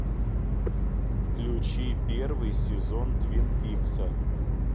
включи первый сезон твин пикса